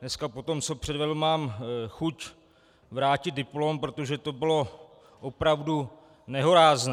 Dneska po tom, co předvedl, mám chuť vrátit diplom, protože to bylo opravdu nehorázné.